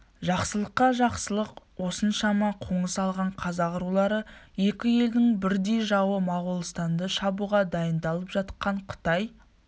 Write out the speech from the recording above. жақсылыққа жақсылық осыншама қоныс алған қазақ рулары екі елдің бірдей жауы моғолстанды шабуға дайындалып жатқан қытай